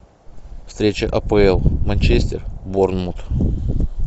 встреча апл манчестер борнмут